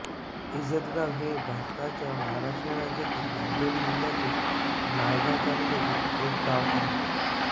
इझतगाव हे भारताच्या महाराष्ट्र राज्यातील नांदेड जिल्ह्यातील नायगाव तालुक्यातील एक गाव आहे